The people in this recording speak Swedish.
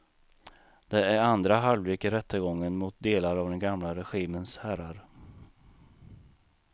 Det är andra halvlek i rättegången mot delar av den gamla regimens herrar.